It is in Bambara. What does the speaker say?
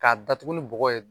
K'a datugu ni bɔgɔ ye